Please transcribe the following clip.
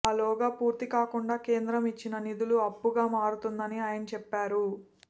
ఆ లోగా పూర్తి కాకుండా కేంద్రం ఇచ్చిన నిధులు అప్పుగా మారుతుందని ఆయన చెప్పారు